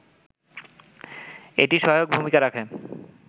এটি সহায়ক ভূমিকা রাখে